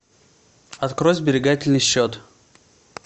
открой сберегательный счет